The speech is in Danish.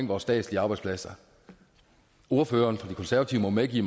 vores statslige arbejdspladser ordføreren for de konservative må medgive